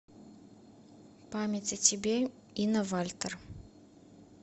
память о тебе инна вальтер